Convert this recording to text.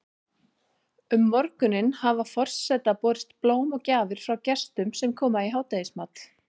Um morguninn hafa forseta borist blóm og gjafir frá gestum sem koma í hádegismat.